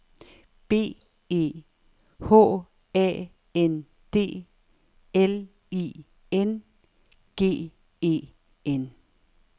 B E H A N D L I N G E N